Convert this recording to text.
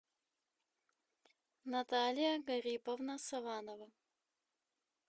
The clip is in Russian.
наталья гариповна саванова